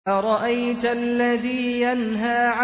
أَرَأَيْتَ الَّذِي يَنْهَىٰ